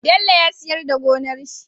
Bello ya siyar da gonar shi